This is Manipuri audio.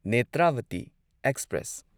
ꯅꯦꯇ꯭ꯔꯥꯚꯇꯤ ꯑꯦꯛꯁꯄ꯭ꯔꯦꯁ